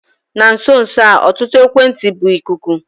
Na nso nso a ọtụtụ ekwentị bụ ikuku.